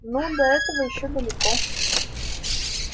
ну до этого ещё далеко